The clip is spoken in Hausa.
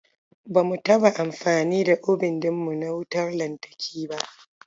Ba mu taɓa amfani da obin ɗin mu na wautar lantarki ba.